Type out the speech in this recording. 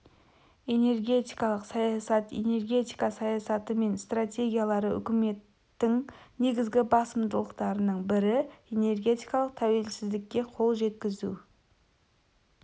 энергетикалық саясат энергетика саясаты мен стратегиялары үкіметтің негізгі басымдықтарының бірі-энергетикалық тәуелсіздікке қол жеткізу